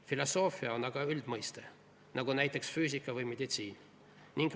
" Filosoofia on aga üldmõiste nagu füüsika või meditsiin.